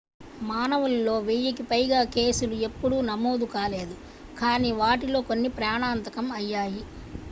మానవుల్లో వెయ్యి కి పైగా కేసులు ఎప్పుడూ నమోదు కాలేదు కానీ వాటిలో కొన్ని ప్రాణాంతకం అయ్యాయి